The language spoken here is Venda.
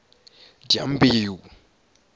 dyambeu